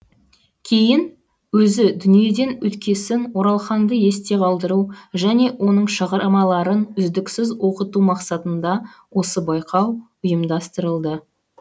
кейін өзі дүниеден өткесін оралханды есте қалдыру және оның шығармаларын үздіксіз оқыту мақсатында осы байқау ұйымдастырылды